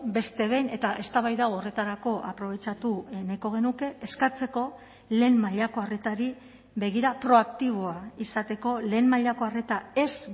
beste behin eta eztabaida hau horretarako aprobetxatu nahiko genuke eskatzeko lehen mailako arretari begira proaktiboa izateko lehen mailako arreta ez